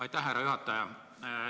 Aitäh, härra juhataja!